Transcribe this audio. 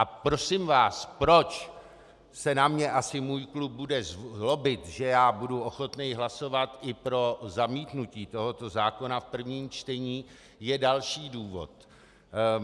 A prosím vás, proč se na mě asi můj klub bude zlobit, že já budu ochoten hlasovat i pro zamítnutí tohoto zákona v prvém čtení, je další důvod.